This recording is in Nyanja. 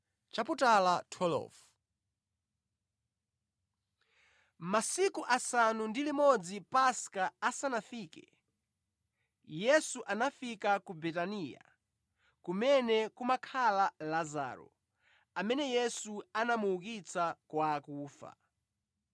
Masiku asanu ndi limodzi Paska asanafike, Yesu anafika ku Betaniya, kumene kumakhala Lazaro, amene Yesu anamuukitsa kwa akufa.